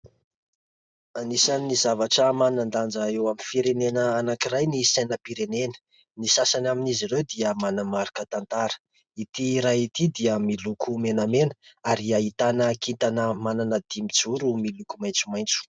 Anisan'ny zavatra manan-danja eo amin'ny firenena anankiray ny sainam-pirenena, ny sasany amin'izy ireo dia manamarika tantara. Ity iray ity dia miloko menamena ary ahitana kitana manana dimy zoro miloko maitsomaitso.